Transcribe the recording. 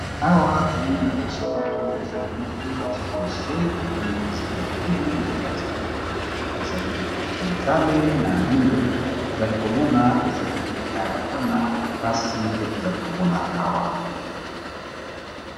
Awa to moni lokolo ya sapatu ezali moko ba tie yango na se to moni ezali ya bolulu na kati to moni ezali motane na a mwindo, to zali ko mona ezali ya bana basi nde tozali ko mona awa .